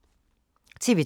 TV 2